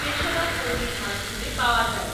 পেশাদার কর্মীর মাধ্যমে পাওয়া যায়।